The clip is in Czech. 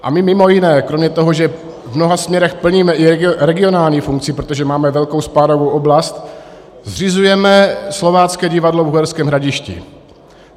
A my mimo jiné kromě toho, že v mnoha směrech plníme i regionální funkci, protože máme velkou spádovou oblast, zřizujeme Slovácké divadlo v Uherském Hradišti.